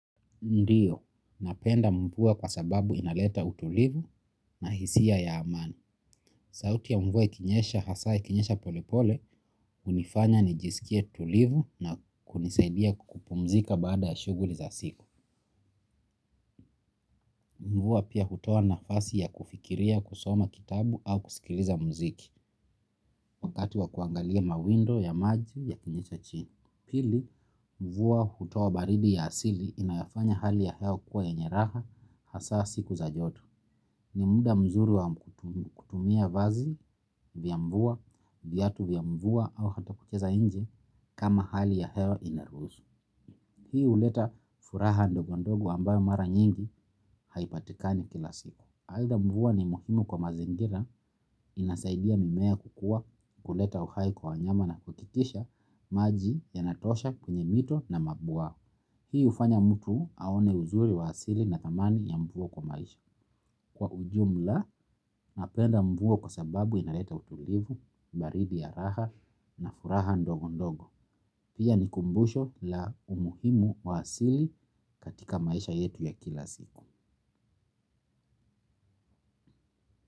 Ndiyo, napenda mvua kwa sababu inaleta utulivu na hisia ya amani. Sauti ya mvua ikinyesha hasa ikinyesha pole pole, hunifanya nijisikie tulivu na kunisaidia kupumzika baada ya shughuli za siku. Mvua pia hutoa nafasi ya kufikiria kusoma kitabu au kusikiliza mziki, wakati wa kuangalia mawindo ya maji yakinyesha chini. Pili, mvua hutoa baridi ya asili inayofanya hali ya hewa kukuwa yenye raha hasaa siku za joto. Ni muda mzuri wa kutumia vazi vya mvua, vyatu vya mvua au hata kucheza nje kama hali ya hewa inaruhusu. Hii huleta furaha ndogo ndogo ambayo mara nyingi haipatikani kila siku. Aidha mvua ni muhimu kwa mazingira inasaidia mimea kukuwa, kuleta uhai kwa wanyama na kuhakikisha maji yanatoaha kwenye mito na mabwawa. Hii hufanya mtu aone uzuri wa asili na thamani ya mvua kwa maisha. Kwa ujumla napenda mvua kwa sababu inaleta utulivu, baridi ya raha na furaha ndogo ndogo. Pia ni kumbusho la umuhimu wa asili katika maisha yetu ya kila siku.